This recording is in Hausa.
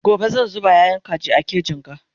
gobe zan zuba yayan kaji a kejin ga